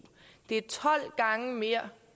det er tolv gange mere